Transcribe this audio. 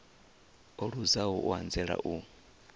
o luzaho u anzela u